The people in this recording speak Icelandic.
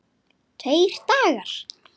Tveir dagar!